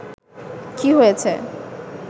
কি হয়েছে